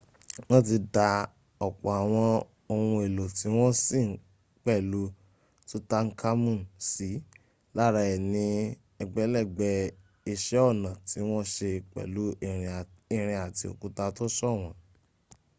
wọ́n ti dá ọ̀pọ̀ àwọn ohun èlò tí wọ́n sin pẹ̀lú tutankhamun sí lára è ní ẹgbẹ̀lẹ́gbẹ̀ iṣẹ́ ọnà tí wọ́n se pẹ̀lú irin àti òkúta tó ṣọ̀wọ́n